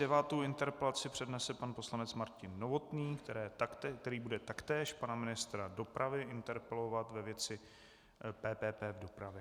Devátou interpelaci přednese pan poslanec Martin Novotný, který bude taktéž pana ministra dopravy interpelovat ve věci PPP v dopravě.